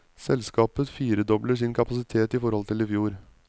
Selskapet firedobler sin kapasitet i forhold til i fjor.